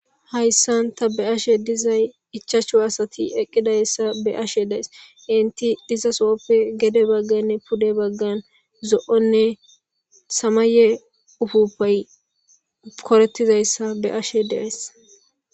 Hayssan ta be ashe dizay ichaacho asati eqqidayssa be ashe dees inti diza so7oppe gede bagganne pude baggan zo7onne samaye ufuppay korettizayssa be ashe dees